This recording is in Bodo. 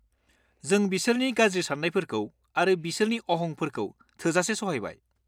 जों बिसोरनि गाज्रि सान्नायफोरखौ आरो बिसोरनि अहंफोरखौ थोजासे सहायबाय।